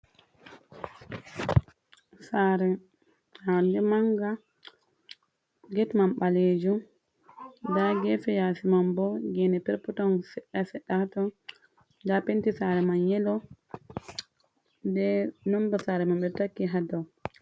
Sare ndaɗe manga, get man baleju, nda gefe yasi man bo gene per poton sedda sedda ha ton, nda penti sare man yelo, bee nomba sare man ɓe taki ha dau.